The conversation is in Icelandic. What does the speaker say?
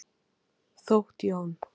Þótt Jón.